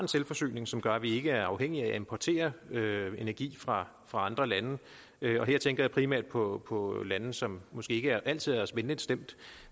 en selvforsyning som gør at vi ikke er afhængige af at importere energi fra andre lande her tænker jeg primært på på lande som måske ikke altid er os venligt stemt